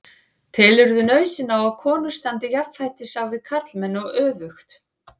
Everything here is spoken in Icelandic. Telurðu nauðsyn á að konur standi jafnfætis á við karlmenn og öfugt?